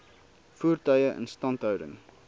voertuie instandhouding